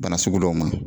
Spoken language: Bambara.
Bana sugu dɔw ma